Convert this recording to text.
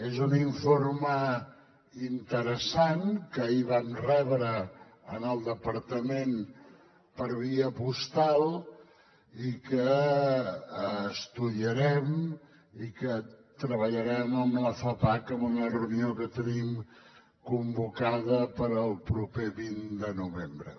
és un informe interessant que ahir vam rebre en el departament per via postal i que estudiarem i treballarem amb la fapac en una reunió que tenim convocada per al proper vint de novembre